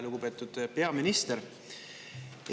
Lugupeetud peaminister!